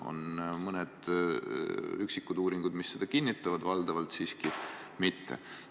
On mõned üksikud uuringud, mis seda kinnitavad, valdavalt siiski mitte.